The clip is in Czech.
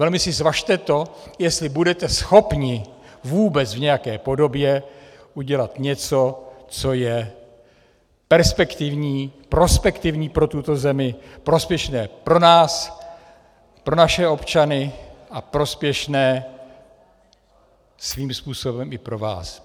Velmi si zvažte to, jestli budete schopni vůbec v nějaké podobě udělat něco, co je perspektivní, prospektivní pro tuto zemi, prospěšné pro nás, pro naše občany a prospěšné svým způsobem i pro vás.